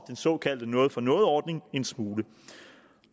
såkaldte noget for noget ordning en smule